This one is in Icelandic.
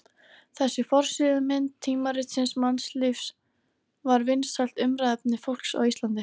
Þessi forsíðumynd tímaritsins Mannlífs var vinsælt umræðuefni fólks á Íslandi.